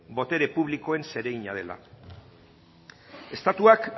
botere publikoen zeregina dela estatuak